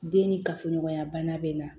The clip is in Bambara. Den ni kafoɲɔgɔnya bana bɛ n na